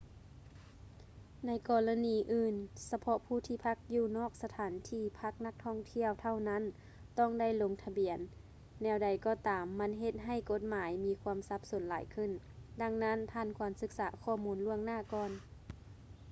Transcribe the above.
ໃນກໍລະນີອື່ນ ສະເພາະຜູ້ທີ່ພັກຢູ່ນອກສະຖານທີ່ພັກນັກທ່ອງທ່ຽວເທົ່ານັ້ນຕ້ອງໄດ້ລົງທະບຽນ ແນວໃດກໍຕາມມັນເຮັດໃຫ້ກົດໝາຍມີຄວາມສັບສົນຫຼາຍຂຶ້ນ ດັ່ງນັ້ນທ່ານຄວນສຶກສາຂໍ້ມູນລ່ວງໜ້າກ່ອນ